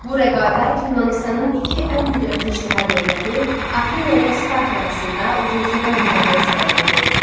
Bu rəqabət Yunanıstanın iki ən qüdrətli şəhər dövləti Afina ilə Sparta arasında uzun sürən müharibəyə səbəb oldu.